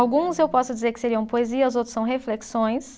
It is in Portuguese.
Alguns eu posso dizer que seriam poesias, outros são reflexões.